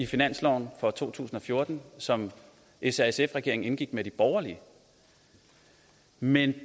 finansloven for to tusind og fjorten som s r sf regeringen indgik med de borgerlige men